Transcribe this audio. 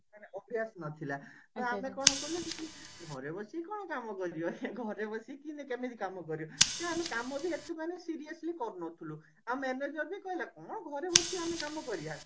ମାନେ ଅଭ୍ଯାସ ନଥିଲା ଆଉ ଆମେ କଲୁ ଘରେ ବସି କଣ କାମ କରିବା ଘରେ ବସିକି କେମିତି କାମ କରିବ କାମ ବି ଏତେ ମାନେ seriously କରୁନଥିଲୁ ଆଉ manager ବି କହିଲା କଣ ଘରେ ବସି ଆମେ କାମ କରିବା